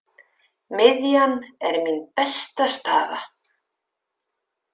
Miðjan er mín besta staða.